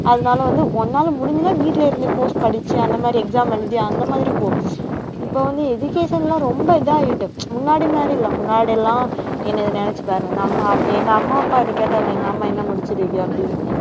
அதனால வந்து உன்னால முடிஞ்சதுனா வீட்டுல இருந்து course படிச்சு அந்த மாதிரி exam எழுதி அந்த மாதிரி போ இப்ப வந்து education லாம் ரொம்ப இதாயிட்டு முன்னாடி மாதிரி இல்லை, முன்னாடி எல்லாம் என்னது நினைச்சு பாரு நம்ம எங்க அம்மா அப்பா இதை கேட்டாலே எங்க அம்மா என்ன முடிச்சுருக்கு அப்படின்னு